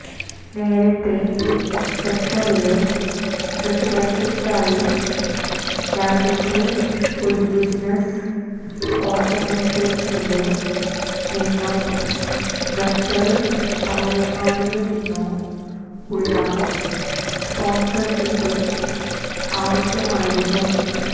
നേരത്തെ ഖത്തറില് റെസിഡന്സിക്കായി രാജ്യത്തെ ഒരു ബിസിനസ് ഓര്ഗനൈസേഷനില് നിന്നോ ഖത്തര് പൌരന്മാരില് നിന്നോ ഉള്ള സ്പോണ്സര്ഷിപ്പ് ആവശ്യമായിരുന്നു